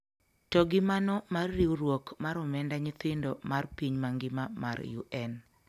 To gi mano mar riwruok mar omenda nyithindo mar piny mangima mar UN